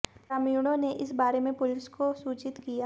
ग्रामीणों ने इस बारे में पुलिस को सूचित किया